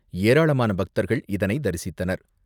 ஏராளமான பக்தர்கள் இதனை தரிசித்தனர்.